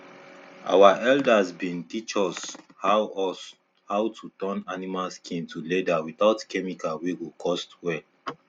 our elders been um teach us how us how to turn animal skin to leather without chemical wey go cost well